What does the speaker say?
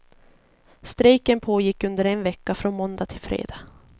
Strejken pågick under en vecka, från måndag till fredag.